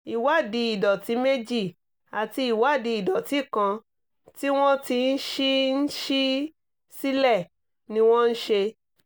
ìwádìí ìdọ̀tí méjì àti ìwádìí ìdọ̀tí kan tí wọ́n ti ń ṣí ń ṣí sílẹ̀ ni wọ́n ṣe